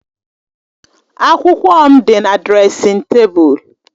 Akwụkwọ m dị na dresịn tebụl.